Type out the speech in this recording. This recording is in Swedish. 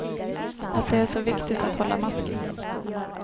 Att det är så viktigt att hålla masken.